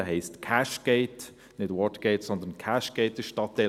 Er heisst Cashgate, nicht Watergate, sondern Cashgate.